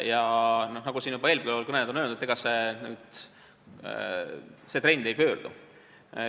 Ja nagu eelkõnelejad on juba öelnud, siis see trend ei pöördu.